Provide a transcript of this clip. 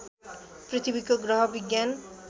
पृथ्वीको ग्रह विज्ञान